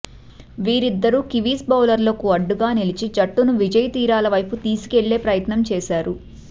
వీరిద్దరూ కివీస్ బౌలర్లకు అడ్డుగా నిలిచి జట్టును విజయ తీరాల వైపు తీసుకెళ్లే ప్రయత్నం చేశారు